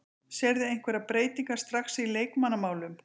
Sérðu einhverjar breytingar strax í leikmannamálum?